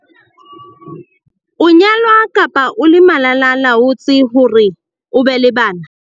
O nyalwa kapa o le malala-a-laotswe hore o be le bana.